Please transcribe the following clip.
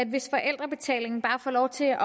hvis forældrebetalingen bare får lov til at